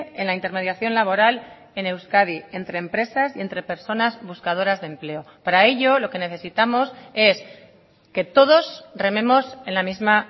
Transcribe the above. en la intermediación laboral en euskadi entre empresas y entre personas buscadoras de empleo para ello lo que necesitamos es que todos rememos en la misma